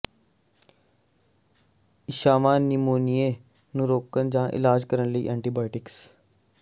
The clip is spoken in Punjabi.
ਇੱਛਾਵਾਂ ਨਿਮੋਨੀਏ ਨੂੰ ਰੋਕਣ ਜਾਂ ਇਲਾਜ ਕਰਨ ਲਈ ਐਂਟੀਬਾਇਟਿਕਸ